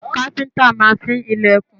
Káfíńńtà máa fín ilẹ̀kùn.